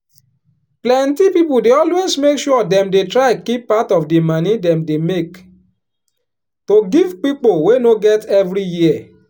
plenty people dey always make sure dem dey try kip part of di moni dem dey make to give pipo wey no get every year.